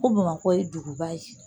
Ko bamakɔ ye duguba ye